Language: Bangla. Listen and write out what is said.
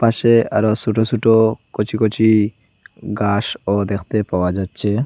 পাশে আরও ছোট ছোট কচি কচি গাসও দেখতে পাওয়া যাচ্ছে।